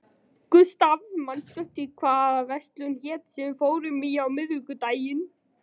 Gustav, manstu hvað verslunin hét sem við fórum í á miðvikudaginn?